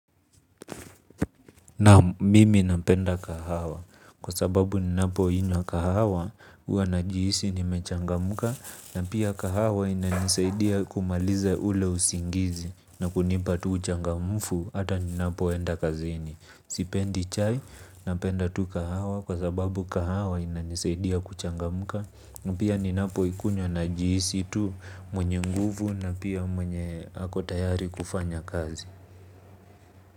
Naam mimi napenda kahawa kwa sababu ninapoinywa kahawa huwa najihisi nimechangamka na pia kahawa inanisaidia kumaliza ule usingizi na kunipa tu uchangamfu hata ninapoenda kazini. Sipendi chai napenda tu kahawa kwa sababu kahawa inanisaidia kuchangamka na pia ninapoikunywa najihisi tu mwenye nguvu na pia mwenye ako tayari kufanya kazi.